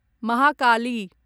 Mahakali